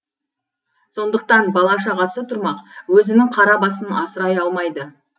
сондықтан бала шағасы тұрмақ өзінің қара басын асырай алмайды